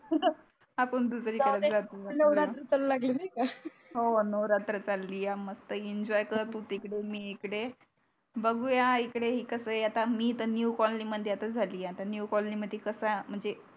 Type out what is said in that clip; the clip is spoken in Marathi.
आपण दुसरी कडे जातोय जाऊदे नवरात्र तर लागली नाही का हो हो नवरात्र चालीया मस्त एंजॉय कर तु तिकडे मी इकडे बगूया इकडे ही कस आता मी तर आता न्यू कॉलनी मध्ये झाली आता न्यू कॉलनीमध्ये कस म्हणजे